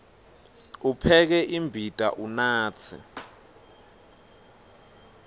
upheke imbita unatse